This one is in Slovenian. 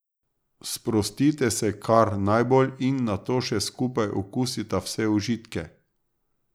Sprostite se kar najbolj in nato še skupaj okusita vse užitke.